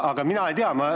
Mina ei tea.